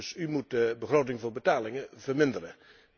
Dus u moet de begroting voor betalingen verminderen.